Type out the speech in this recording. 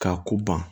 K'a ko ban